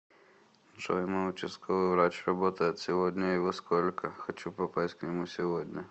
джой мой участковый врач работает сегодня и во сколько хочу попасть к нему сегодня